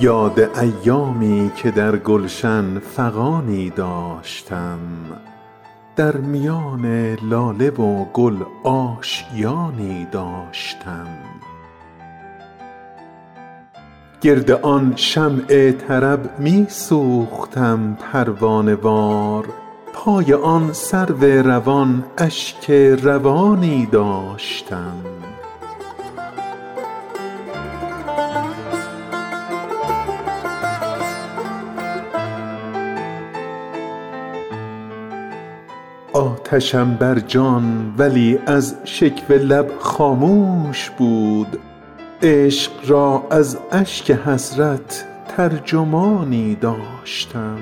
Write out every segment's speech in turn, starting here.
یاد ایامی که در گلشن فغانی داشتم در میان لاله و گل آشیانی داشتم گرد آن شمع طرب می سوختم پروانه وار پای آن سرو روان اشک روانی داشتم آتشم بر جان ولی از شکوه لب خاموش بود عشق را از اشک حسرت ترجمانی داشتم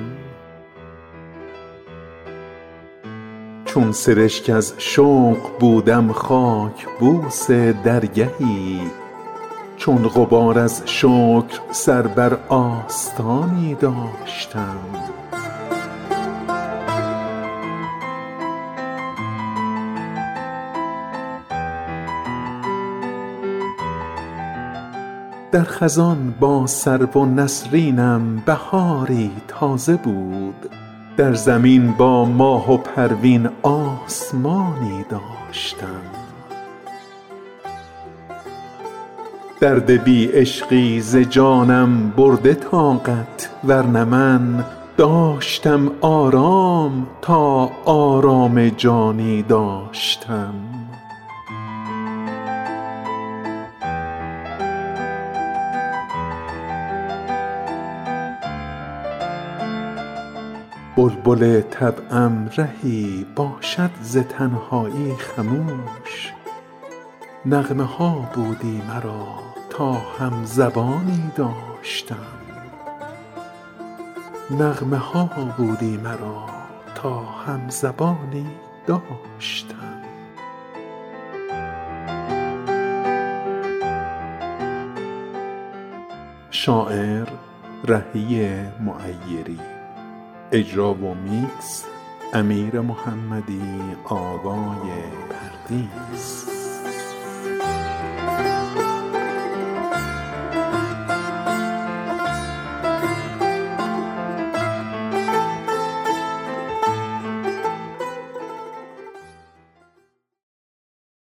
چون سرشک از شوق بودم خاک بوس درگهی چون غبار از شکر سر بر آستانی داشتم در خزان با سرو و نسرینم بهاری تازه بود در زمین با ماه و پروین آسمانی داشتم درد بی عشقی ز جانم برده طاقت ورنه من داشتم آرام تا آرام جانی داشتم بلبل طبعم رهی باشد ز تنهایی خموش نغمه ها بودی مرا تا هم زبانی داشتم